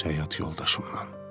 öz həyat yoldaşımdan.